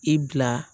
I bila